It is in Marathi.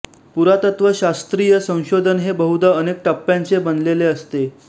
पुरातत्त्वशास्त्रीय संशोधन हे बहुधा अनेक टप्प्यांचे बनलेले असते